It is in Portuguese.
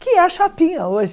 Que é a chapinha hoje.